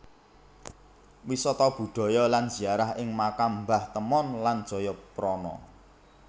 Wisata budaya lan ziarah ing Makam Mbah Temon lan Jayaprana